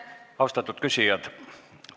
Austatud küsijad!